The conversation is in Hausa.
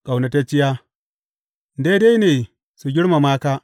Ƙaunatacciya Daidai ne su girmama ka!